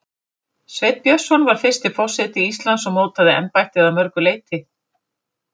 Sveinn Björnsson var fyrsti forseti Íslands og mótaði embættið að mörgu leyti.